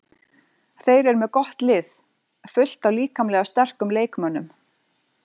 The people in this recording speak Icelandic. Þeir eru með gott lið, fullt af líkamlega sterkum leikmönnum.